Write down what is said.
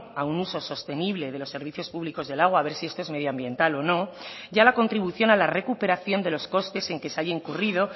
a un uso sostenible de los servicios públicos del agua a ver si esto es medioambiental o no y a la contribución a la recuperación de los costes en que se haya incurrido